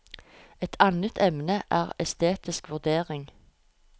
Et annet emne er estetisk vurdering.